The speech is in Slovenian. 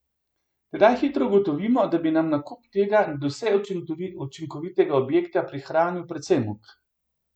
Tedaj hitro ugotovimo, da bi nam nakup tega nadvse učinkovitega objekta prihranil precej muk.